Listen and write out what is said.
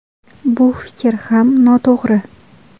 Bu fikr ham noto‘g‘ri.